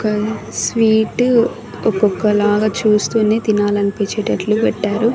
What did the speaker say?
ఇక స్వీటు ఒక్కొక్కలాగా చూస్తూనే తినాలనిపించేటట్లు పెట్టారు.